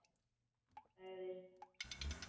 Hún sagðist ekki vera svöng.